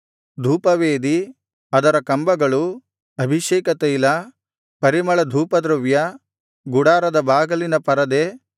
ಧೂಪವೇದಿ ಅದರ ಕಂಬಗಳು ಅಭಿಷೇಕ ತೈಲ ಪರಿಮಳಧೂಪದ್ರವ್ಯ ಗುಡಾರದ ಬಾಗಿಲಿನ ಪರದೆ